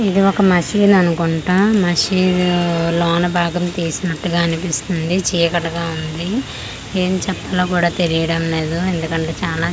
ఇది ఒక మసీదు అనుకుంటా మసీదు లోన బాగము తీసినట్టుగా అనిపిస్తుంది చీకటిగా ఉంది ఏమి చెప్పాలో కూడా తెలియడము లేదు ఎందుకంటే చానా చీక--